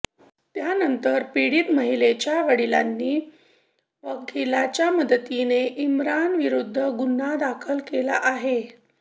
त्यानंतर पिडीत महिलेच्या वडिलांनी वकिलांच्या मदतीने इम्रानविरुद्ध गुन्हा दाखल केला आहे